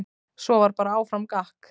Svo var bara áfram gakk.